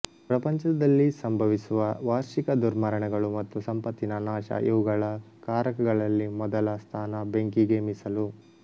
ಪ್ರಪಂಚದಲ್ಲಿ ಸಂಭವಿಸುವ ವಾರ್ಷಿಕ ದುರ್ಮರಣಗಳು ಮತ್ತು ಸಂಪತ್ತಿನ ನಾಶಇವುಗಳ ಕಾರಕಗಳಲ್ಲಿ ಮೊದಲ ಸ್ಥಾನ ಬೆಂಕಿಗೇ ಮೀಸಲು